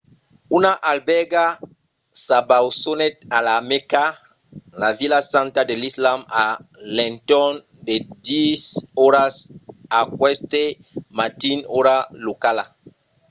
una albèrga s'abausonèt a la mèca la vila santa de l’islam a l'entorn de 10 oras aqueste matin ora locala